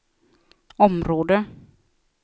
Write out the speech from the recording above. område